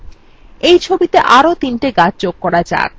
এই ছবিতে আরো তিনটি গাছ যোগ করা যাক